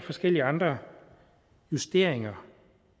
forskellige andre justeringer